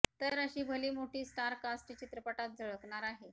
तर अशी भली मोठी स्टार कास्ट चित्रपटात झळकणार आहे